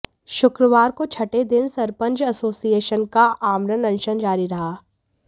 शुक्रवार को छठे दिन सरपंच एसोसिएशन का आमरण अनशन जारी रहा